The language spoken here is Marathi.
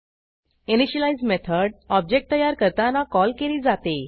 इनिशियलाईज मेथड ऑब्जेक्ट तयार करताना कॉल केली जाते